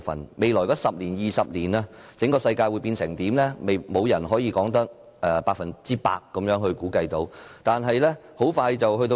在未來的10年或20年，整個世界會變成怎樣，沒有人可以百分之百估計得到。